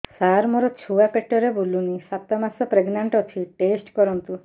ସାର ମୋର ଛୁଆ ପେଟରେ ବୁଲୁନି ସାତ ମାସ ପ୍ରେଗନାଂଟ ଅଛି ଟେଷ୍ଟ କରନ୍ତୁ